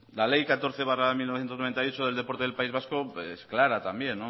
la ley catorce barra mil novecientos noventa y ocho del deporte del país vasco es clara también